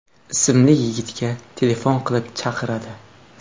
ismli yigitga telefon qilib chaqiradi.